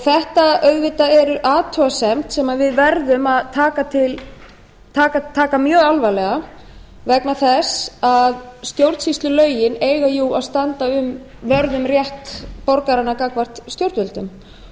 þetta er auðvitað athugasemd sem við verðum að taka mjög alvarlega vegna þess að stjórnsýslulögin eiga jú að standa vörð um rétt borgaranna gagnvart stjórnvöldum